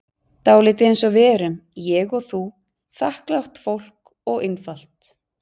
Dálítið einsog við erum, ég og þú, þakklátt fólk og einfalt.